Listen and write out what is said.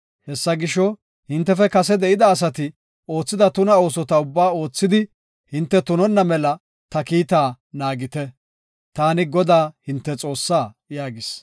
Hessa gisho, hintefe kase de7ida asati oothida tuna oosota ubbaa oothidi hinte tunonna mela ta kiitta naagite; taani Godaa, hinte Xoossaa” yaagis.